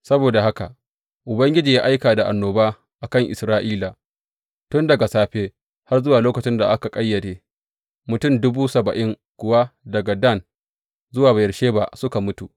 Saboda haka Ubangiji ya aika da annoba a kan Isra’ila tun daga safe har zuwa lokacin da aka ƙayyade, mutum dubu saba’in kuwa daga Dan zuwa Beyersheba suka mutu.